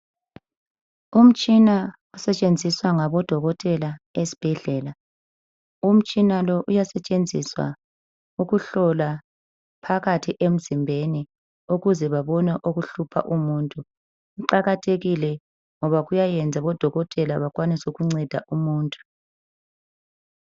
Umtshina osetshenziswa ngabo dokotela esibhedlela. Umtshina lo uyasetshenziswa ukuhlola phakathi emzimbeni ukuze bebone okuhlupha umuntu. Kuqakathekile ngoba kuyayenza odokotela bekwanise ukunceda umuntu.